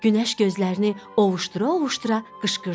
Günəş gözlərini ovuşdura-ovuşdura qışqırdı.